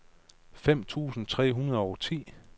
femten tusind tre hundrede og ti